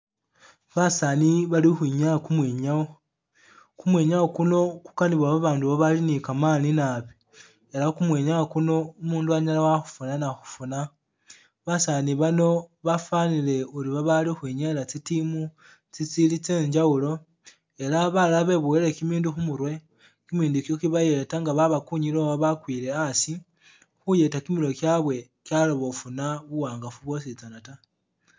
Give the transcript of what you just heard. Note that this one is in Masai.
Basaani Bali ukhwinyaa kumwinyaawo, kumwimyaawo kuno kukanibwa babaandu bali ni kamaani naabi ela kumwinyaawo kuno umundu anyala wakhufuna na khukhufuna. Basaani bano bafwanile uri bali ukhwinyayila tsi team tsitsili tsye njawulo ela balala beboyile kimindu khumurwe, kimindu ikyo kibayeeta nga babakunyile oba bakwile hasi kimirwe kyabwe kyaloba khufuna buwangafu bwositsana ta.